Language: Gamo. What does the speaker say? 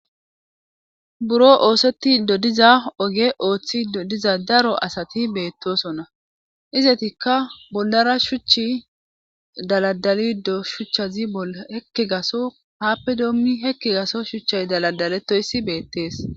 buro oosetti dodiza oge ooththi dodiza daro asati beettosonna izetikka bollara shuchchi daladalido shuchchazi hekki gaso haappe doommi hekki gaso shuchchay daladaletoyssi beettees